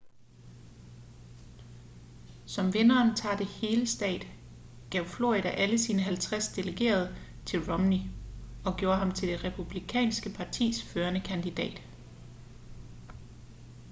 som vinderen tager det hele-stat gav florida alle sine halvtreds delegerede til romney og gjorde ham til det republikanske partis førende kandidat